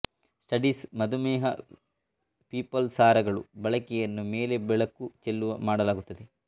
studies ಮಧುಮೇಹ ಪೀಪಲ್ ಸಾರಗಳು ಬಳಕೆಯನ್ನು ಮೇಲೆ ಬೆಳಕು ಚೆಲ್ಲುವ ಮಾಡಲಾಗುತ್ತದೆ